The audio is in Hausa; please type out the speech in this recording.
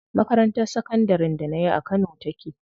Makarantar sakandarin da nayi a kano take.